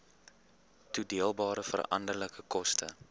toedeelbare veranderlike koste